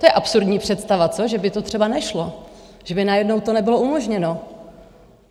To je absurdní představa, co, že by to třeba nešlo, že by najednou to nebylo umožněno?